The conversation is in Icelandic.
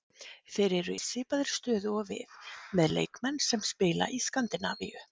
Þeir eru í svipaðri stöðu og við, með leikmenn sem spila í Skandinavíu.